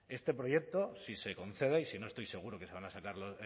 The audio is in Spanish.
este proyecto si se concede y si no estoy seguro de que se va a sacar